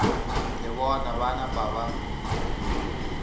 le bona ba napa ba